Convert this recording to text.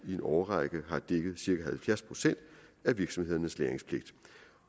i en årrække har dækket cirka halvfjerds procent af virksomhedernes lagringspligt